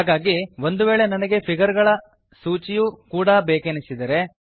ಹಾಗಾಗಿ ಒಂದು ವೇಳೆ ನನಗೆ ಫಿಗರ್ ಗಳ ನ ಸೂಚಿಯೂ ಕೂಡ ಬೇಕೆನಿಸಿದರೆ